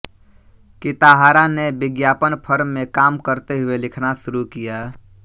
Kitahara ने विज्ञापन firm में काम करते हुए लिखना शुरू किया